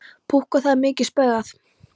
Púkk og það er mikið spaugað.